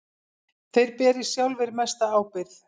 Þeir beri sjálfir mesta ábyrgð.